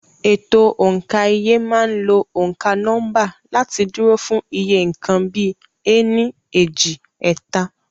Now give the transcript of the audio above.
Ètò òǹkà iye máa ń lo òǹkà nọ́mbà láti dúró fún iye nǹkan bíi "ení, èjì, ẹ̀ta".